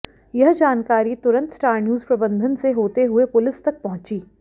यह जानकारी तुरंत स्टार न्यूज प्रबंधन से होते हुए पुलिस तक पहुंची